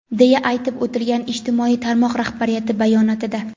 deya aytib o‘tilgan ijtimoiy tarmoq rahbariyati bayonotida.